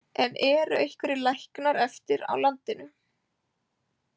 En eru einhverjir læknar eftir á landinu?